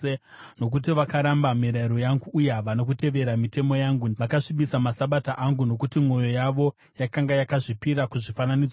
nokuti vakaramba mirayiro yangu uye havana kutevera mitemo yangu, vakasvibisa maSabata angu. Nokuti mwoyo yavo yakanga yakazvipira kuzvifananidzo zvavo.